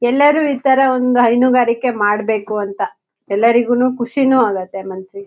ಎಲ್ಲಾರು ಇತರ ಒಂದ್ ಹೈನುಗಾರಿಕೆ ಮಾಡ್ಬೇಕು ಅಂತ ಎಲ್ಲರಿಗೂನು ಖುಷಿನೂ ಆಗುತ್ತೆ ಮನ್ಸ್ಸಿಗ್.